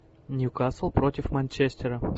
ньюкасл против манчестера